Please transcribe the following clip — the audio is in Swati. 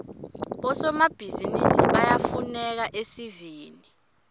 bosomabhizinisi bayafuneka esiveni